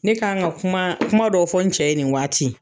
Ne kan ka kuma kumaw dɔ fɔ n cɛ ye nin waati.